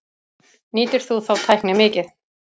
Nýtir þú þá tækni mikið?